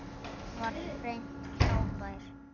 Hann var hreint frábær.